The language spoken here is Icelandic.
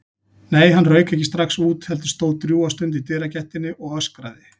Nei, hann rauk ekki strax út, heldur stóð drjúga stund í dyragættinni og öskraði.